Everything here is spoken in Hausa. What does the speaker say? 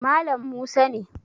Malam musa ne